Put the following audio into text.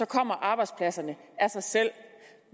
kommer arbejdspladserne af sig selv